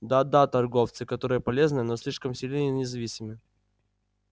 да-да торговцы которые полезны но слишком сильны и независимы